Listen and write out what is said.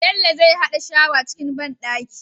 Bello zai hada shawa cikin banɗaki